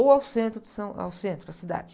Ou ao centro de São, ao centro da cidade.